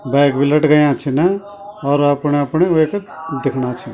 बैग बि लटकया छिन और अपणा अपणे वेक दिखणा छी।